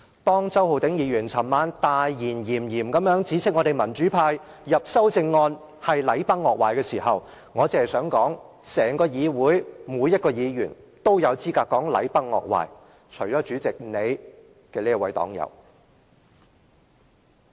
當周浩鼎議員昨晚大言炎炎，指斥民主派提出修正案是禮崩樂壞時，我只想說，在整個議會內，每一位議員都有資格說禮崩樂壞，除了代理主席的這位黨友。